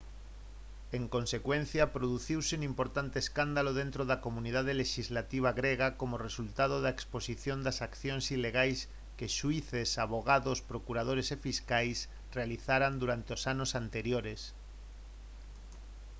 en consecuencia produciuse un importante escándalo dentro da comunidade lexislativa grega como resultado da exposición das accións ilegais que xuíces avogados procuradores e fiscais realizaran durante os anos anteriores